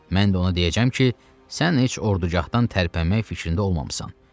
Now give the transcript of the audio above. Mən də ona deyəcəm ki, sən heç orducağdan tərpənmək fikrində olmamısan.